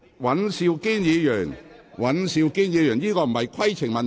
尹兆堅議員，這並非規程問題。